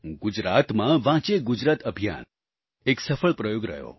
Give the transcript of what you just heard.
ગુજરાતમાં વાંચે ગુજરાત અભિયાન એક સફળ પ્રયોગ રહ્યો